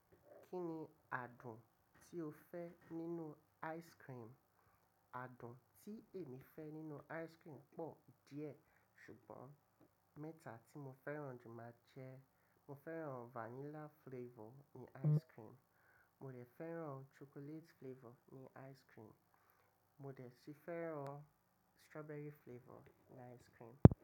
Kí ni àádùn tí ó fẹ́ nínú ice cream? Àádùn tí èmi fẹ́ nínú ice cream pọ̀ díẹ̀ ṣùgbọ́n mẹ́ta tí mo fẹ́ràn jù máa jẹ́ mo fẹ́ràn vanilla flavor ní ice cream, mo si fẹ́ràn chocolate flavor ní ice cream, mo rẹ̀ sì fẹ́ràn strawberry flavor ní ice cream.